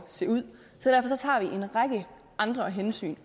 at se ud derfor tager vi også en række andre hensyn